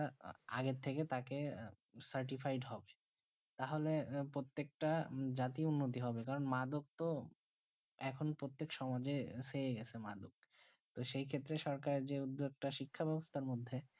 আগে থেকে তাকে স্টিফায়েড হোক তা হলে প্রত্যেক তা জাতি উন্নিতি হবে কারণ মাদক তো আখন প্রত্যেক সমাজে এসে গেছে মাদক সেই ক্ষেত্রে সরকারে উদোগ্যিটা শিক্ষা বেবস্তা মধ্যে